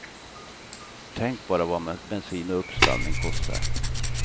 Tänk bara vad bensin och uppstallning kostar.